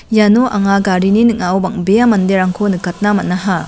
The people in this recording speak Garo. iano anga garini ning·ao bang·bea manderangko nikatna man·aha.